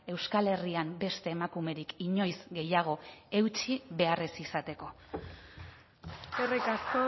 euskal herrian beste emakumerik inoiz gehiago eutsi behar ez izateko eskerrik asko